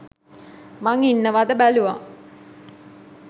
මං ඉන්නවද බැලුවා